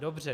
Dobře.